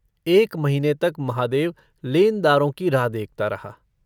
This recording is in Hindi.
एक महीने तक महादेव लेनदारों की राह देखता रहा।